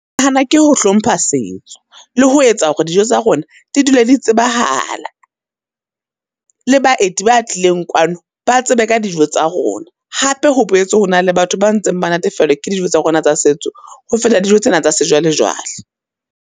Nahana ke ho hlompha setso, le ho etsa hore dijo tsa rona di dule di tsebahala, le baeti ba tlileng kwano ba tsebe ka dijo tsa rona. Hape ho boetse ho na le batho ba ntseng ba natefelwa ke dijo tsa rona tsa setso, ho feta dijo tsena tsa sejwalejwale.